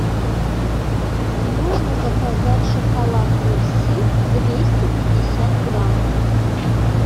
можно заказать шоколад мерси двести пятьдесят грамм